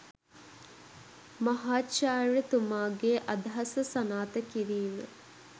මහාචාර්‍ය තුමාගේ අදහස සනාත කිරීම